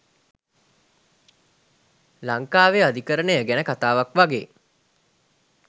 ලංකාවෙ අධිකරණය ගැන කතාවක් වගේ